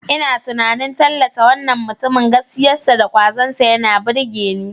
Ina tunanin tallata wannan mutumin, gaskiyarsa da kwazonsa yana burge ni.